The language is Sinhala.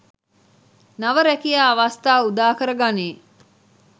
නව රැකියා අවස්‌ථා උදාකර ගනී.